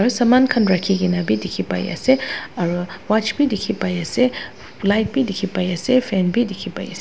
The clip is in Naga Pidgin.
Aro saman khan rakhi kena bi dekhi pai ase aro watch bhi dekhi pai ase light bi dekhi pai ase fan bi dekhi pai ase.